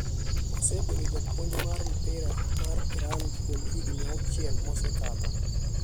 Osebedo japuonj mar mpira mar Iran kuom higni auchiel mosekadho.